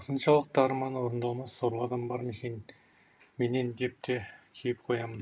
осыншалықты арманы орындалмас сорлы адам бар ма екен менен деп те кейіп қоямын